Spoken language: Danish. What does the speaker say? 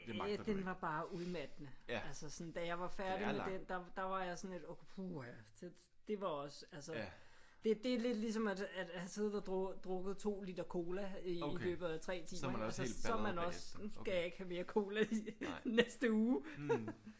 Øh den var bare udmattende. Altså sådan da jeg var færdig med den der der var jeg sådan lidt okay puha det var også. Altså det er lidt ligesom at have drukket 2 liter cola i løbet af 3 timer. Så er man også nu skal jeg ikke have mere cola den næste uge